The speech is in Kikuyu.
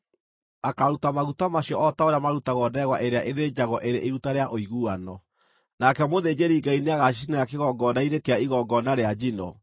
akaaruta maguta macio o ta ũrĩa marutagwo ndegwa ĩrĩa ĩthĩnjagwo ĩrĩ iruta rĩa ũiguano. Nake mũthĩnjĩri-Ngai nĩagacicinĩra kĩgongona-inĩ kĩa igongona rĩa njino,